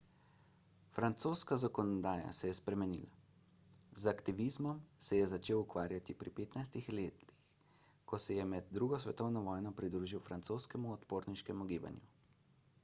francoska zakonodaja se je spremenila z aktivizmom se je začel ukvarjati pri 15 letih ko se je med ii svetovno vojno pridružil francoskemu odporniškemu gibanju